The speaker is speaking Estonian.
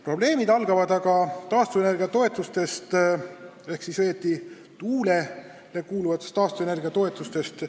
Probleemid algavad aga taastuvenergia toetustest, õieti tuuleenergia tootjatele makstavatest taastuvenergia toetustest.